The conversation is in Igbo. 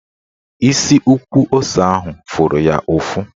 Isi ukwu ose ahụ fụrụ ya ụfụ